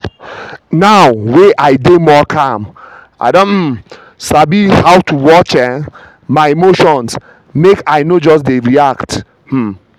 now wey i dey more calm i don um sabi how to watch um my emotions make i no just jump dey react. um